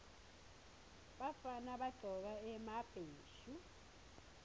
bafana bagcoka emabheshu